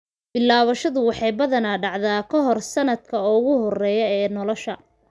Bilaabashadu waxay badanaa dhacdaa kahor sanadka ugu horeeya ee nolosha.